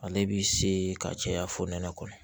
Ale bi se ka caya fonɛnɛ kɔnɔ